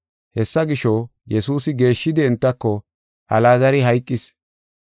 Hessa gisho, Yesuusi geeshshidi entako, “Alaazari hayqis.